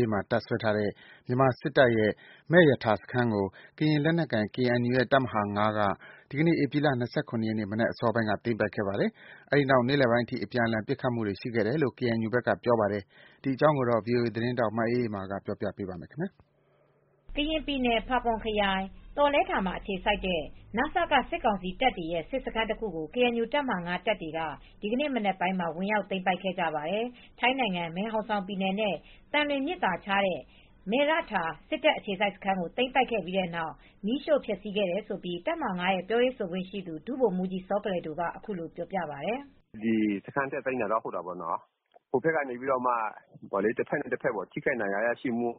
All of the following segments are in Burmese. ေးမှာ တပ်စွဲထားတဲ့ မြန်မာစစ်တပ်ရဲ့ မယ့်ရထာစခန်းကို ကရင်လက်နက်ကိုင် KNU ရဲ့ တပ်မဟာ ၅ က ဒီနေ့ ဧပြီလ ၂၇ ရက် မနက်အစောပိုင်းက သိမ်းပိုက်ခဲ့ပါတယ်။ အဲဒီနောက် နေ့လယ်ပိုင်းအထိ အပြန်အလှန် ပစ်ခတ်မှုတွေ ရှိခဲ့တယ်လို့ အပစ်အခတ်တွေရှိ ကေအန်ယူဘက်ကပြောပါတယ်။ ဒီသတင်းကို ဗွီအိုအေ သတင်းထောက်မအေးအေးမာက တင်ဆက်ပေးပါမယ်။ ကရင်ပြည်နယ် ဖာပွန်ခရိုင် သောလဲထာမှာ အခြေစိုက်ထားတဲ့ န.စ.က စစ်ကောင်စီတပ်တွေရဲ့ စစ်စခန်းတခုကို ကေအန်ယူတပ်ဟာ ၅ တပ်တွေက ဒီနေ့ မနက်ပိုင်းက ဝင်ရောက်သိမ်းပိုက်ခဲ့ကြပါတယ်။ ထိုင်းနိုင်ငံ မယ်ဟောင်ဆောင်ပြည်နယ်နဲ့ သံလွင်မြစ်သာခြားတဲ့ မယ်ရထာ စစ်တပ်အခြေစိုက်စခန်းကို သိမ်းပိုက်ခဲ့ပြီးနောက် မီးရှို့ဖျက်စီးခဲ့တယ်လို့ တပ်မဟာ ၅ ပြောရေးဆိုခွင့်ရှိသူ ဒုဗိုလ်မူးကြီး စောကလယ်ဒိုက အခုလိုပြောပြပါတယ်။ "တက်သိမ်းတာတော့ ဟုတ်တာပေါ့နော်။ တဘက်နဲ့ တဘက်ဟိုဘက်က ထိခိုက်ဒဏ်ရာရရှိမှု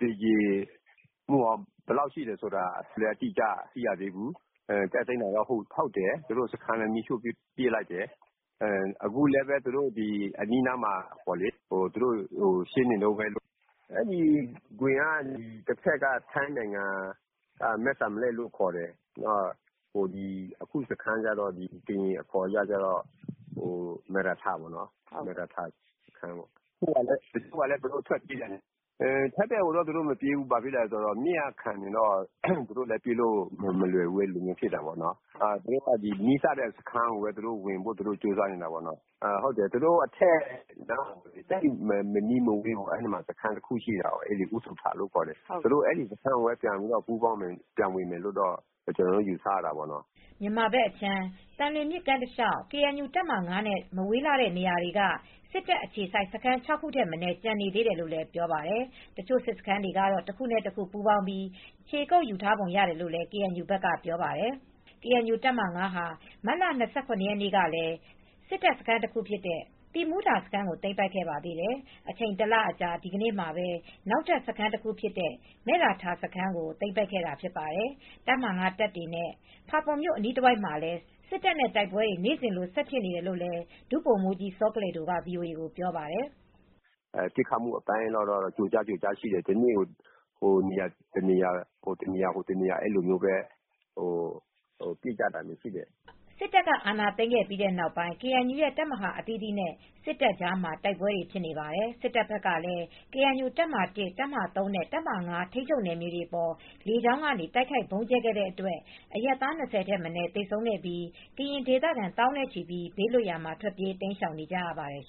သေကြေမှု ဘယ်လောက်ထိရှိလဲဆိုတာ မသိရသေးဘူူး။ တက်သိမ်းတာ ဟုတ်တယ်။ စခန်းလည်း မီးရှိှု့ပစ်လိုက်တယ်။ အခုလည်း အနီးအနားမှာ ရှင်းနေတုန်းပဲ။ အဲဒီဂွင်က တဘက်က မဲ့စံလက်ကိုလို့ခေါ်တယ်။ တဘက်ကတော့ ကရင်အခေါ်ကတော့ မယ့်ရထာစခန်းလို့ခေါ်တယ်။ ထိုင်းဘက်ကိုတော့ သူတို့မပြေးဘူး။ မြစ်ကခံနေလို့ ပြေးဖို့အတွက် မလွယ်ဘူးဖြစ်နေတယ်။ သူတို့က နီးစပ်ရာစခန်းကိုပဲ ဝင်ဖို့ ကြိုးစားနေတယ်။ သူတို့အထက်မနီးမဝေးမှာ စခန်းတခု ရှိတာပေါ့နော်။ အူးသူထလို့ ခေါ်တယ်။ အဲဒီစခန်းကို ဝင်မယ်လို့ ကျနော်တို့က ယူဆရတာပေါ့နော်။" မြန်မာဘက်အခြမ်း သံလွင်မြစ်ကမ်းတလေ ျှာက် ကေအန်ယူတပ်မဟာ ၅ နဲ့ မဝေးလှတဲ့နေရာတွေမှ စစ်တပ်အခြေစိုက် စခန်း ၆ ခုထက် မနည်းကျန်သေးတယ်လို့လည်း ပြောပါတယ်။ တချို့ စစ်စခန်းတွေ တခုနဲ့တခု ပူးပေါင်းပြီး ခြေကုပ်ယူထားပုံရတယ်လို့ KNU ဘက်ကပြောပါတယ်။ ကေအန်ယူတပ်မဟာ ၅ ဟာ မတ်လ ၂၇ ရက်နေ့ကလည်း စစ်တပ်စခန်းတခုဖြစ်တဲ့ သီးမူးထာစခန်းကို သိမ်းပိုက်ခဲ့ပါသေးတယ်။ အချိန် ၁ လအကြာ ဒီနေ့မှာ နောက်ထပ် စခန်းတခုဖြစ်တဲ့ မယ်ရထာစခန်းကို သိမ်းပိုက်တာဖြစ်ပါတယ်။ တပ်မဟာ ၅ တပ်တွေနဲ့ ဖာပွန်မြို့ အနီးတဝိုက်မှာလည်း စစ်တပ်နဲ့ တိုက်ပွဲတွေ နေ့စဉ်လို ဆက်ဖြစ်နေတယ်လို့ ဒုဗိုလ်မူးကြီး စောကလယ်ဒိုက ဗွီအိုအေကို ပြောပါတယ်။ "ပစ်ခတ်မှုအပိုင်းကတော့ ကျိုကြား၊ ကျိုကြားရှိတယ်။ တနေ့ကို ဟိုတနေရာ ဒီနေရာတော့ ပစ်ကြတာရှိတယ်။" စစ်တပ်က အာဏာသိမ်းခဲ့ပြီးနောက်ပိုင်း KNU ရဲ့ တပ်မဟာ အသီသီးနဲ့ စစ်တပ်ကြားမှာ တိုက်ပွဲတွေ ဖြစ်နေပါတယ်။ စစ်တပ်ဘက်ကလည်း ကေအန်ယူတပ်မဟာ ၁၊ တပ်မဟာ ၃ နဲ့ တပ်မဟာ ၅ ထိန်းချုပ်နယ်မြေတွေအပေါ် လေကြောင်းကနေ တိုက်ခိုက် ဗုံးကြဲခဲ့တဲ့အတွက် အရပ်သား ၂၀ ထက်မနည်း သေဆုံးခဲ့ပြီး ကရင်ဒေသခံ သောင်းနဲ့ချီ ဘေးလွတ်ရာမှာ ထွက်ပြေးတိမ်းရှောင်နေကြရပါတယ်